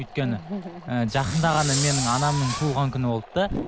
өйткені жақында ғана менің анамның туылған күні болды да